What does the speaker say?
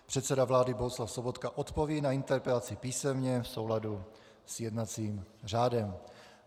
Předseda vlády Bohuslav Sobotka odpoví na interpelaci písemně v souladu s jednacím řádem.